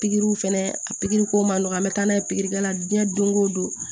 Pikiri fana a pikiri ko man nɔgɔn an bɛ taa n'a ye pikiri kɛla diɲɛ don ko don